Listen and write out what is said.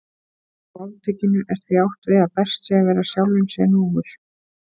Með máltækinu er því átt við að best sé að vera sjálfum sér nógur.